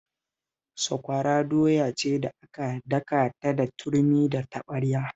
Sakwara doya ce da aka daka ta da turmi da taɓarya